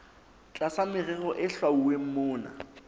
tlasa merero e hlwauweng mona